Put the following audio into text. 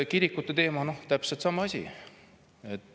Kirikute teema – täpselt sama asi.